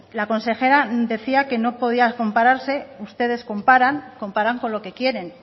la consejera decía que no podía compararse ustedes comparan comparan con lo que quieren